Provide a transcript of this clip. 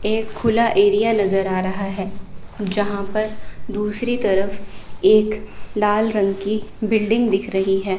एक खुला एरिया नजर आ रहा है जहां पर दूसरी तरफ एक लाल रंग की बिल्डिंग दिख रही है।